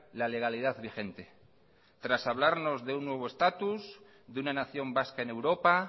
la legalidad vigente tras hablarnos de un nuevo estatus de una nación vasca en europa